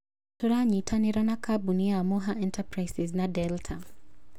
" Tũranyitanĩra na kambuni ta Moha Enterprises na Delta.